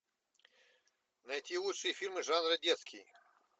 найти лучшие фильмы жанра детский